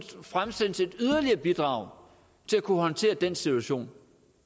fremsendes et yderligere bidrag til at kunne håndtere den situation